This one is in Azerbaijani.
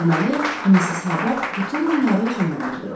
Deməli, Missis Habard bütün bunları özündən uydurub.